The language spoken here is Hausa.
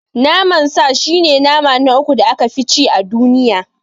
Naman sa shi ne nama na uku da aka fi ci a duniya.